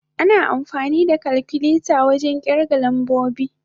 Ana amfani da kalkuleta wajen kirga lambobi.